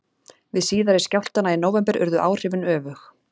Við síðari skjálftana í nóvember urðu áhrifin öfug.